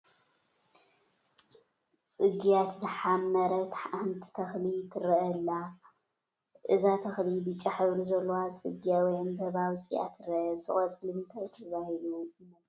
ፅግያት ዝሐመረት ሓንቲ ተኽሊ ትረአ ኣላ፡፡ እዛ ተኽሊ ብጫ ሕብሪ ዘለዎ ፀግያ ወይ ዕንባባ ኣውፂኣ ትረአ፡፡ እዛ ቆፅሊ እንታይ ትባሃል ይመስለኩም?